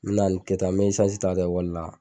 N mɛna kɛ tan n mɛ isansi ta ka taa ikɔli la.